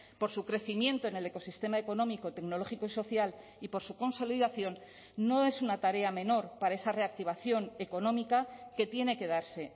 por su crecimiento en el ecosistema económico tecnológico y social y por su consolidación no es una tarea menor para esa reactivación económica que tiene que darse